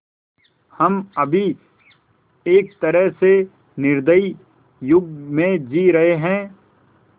हम अभी एक तरह से निर्दयी युग में जी रहे हैं